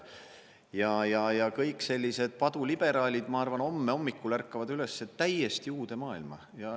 Kõik sellised paduliberaalid, ma arvan, homme hommikul ärkavad üles täiesti uude maailma.